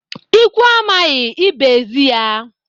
Ikwu amaghị, ibe ezi ya.